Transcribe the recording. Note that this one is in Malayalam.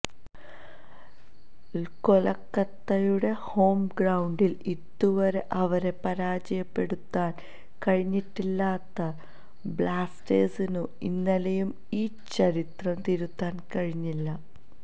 കൊല്ക്കത്തയുടെ ഹോം ഗ്രൌണ്ടില് ഇതുവരെ അവരെ പരാജയപ്പെടുത്താന് കഴിഞ്ഞിട്ടില്ലാത്ത ബ്ലാസ്റ്റേഴ്സിനു ഇന്നലെയും ഈ ചരിത്രം തിരുത്താന് കഴിഞ്ഞില്ല